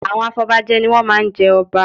Àwọn afọbajẹ ni wọ́n má a ń jẹ ọba